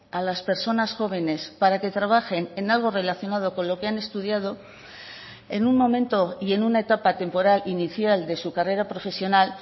a las personas jóvenes para que trabajen en algo relacionado con lo que han estudiado en un momento y en una etapa temporal inicial de su carrera profesional